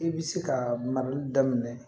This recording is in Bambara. I bi se ka marali daminɛ